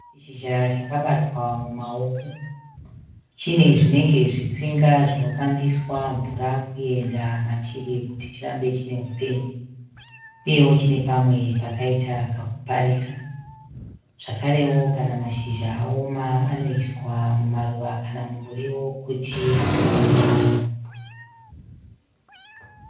Chishizha chakabatwa mumaoko. Chine zvinenge zvitsinga zvinofambiswa mvura kuenda machiri kuti chirambe chinehupenyu. Uyewo chine pamwe pakaita kakuparika. Zvakarewo kana mashizha aoma anoiswa mumaruva kana mumuriwo kuti uwane manyowa.